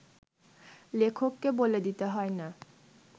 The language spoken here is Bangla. লেখককে বলে দিতে হয় না